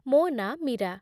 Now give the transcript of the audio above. ମୋ ନାଁ ମୀରା